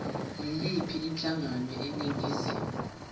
yiyiphi inhlangano eningizimu